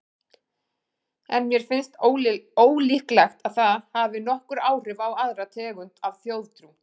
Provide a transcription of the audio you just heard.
En mér finnst ólíklegt að það hafi nokkur áhrif á aðra tegund af þjóðtrú.